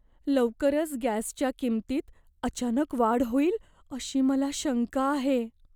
लवकरच गॅसच्या किंमतीत अचानक वाढ होईल अशी मला शंका आहे.